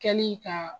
Kɛli ka